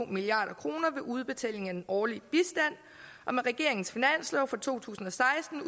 milliard kroner ved udbetaling af den årlige bistand og med regeringens finanslov for to tusind og seksten